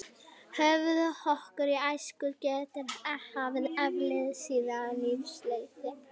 Höfuðhögg í æsku geta haft afleiðingar síðar á lífsleiðinni.